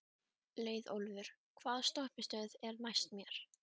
Leiðólfur, hvaða stoppistöð er næst mér?